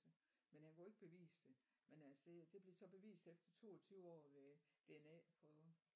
Men han kunne ikke bevise det men øh det det blev så bevist efter 22 år ved DNA-prøver